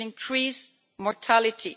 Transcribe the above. It will increase mortality.